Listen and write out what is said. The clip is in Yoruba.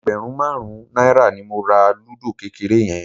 Ẹgbẹ̀rún márùn-ún náírà ni mo ra lúdò kékeré yẹn